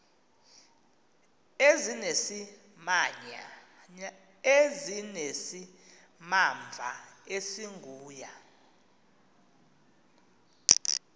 ezinesimamva esingu ya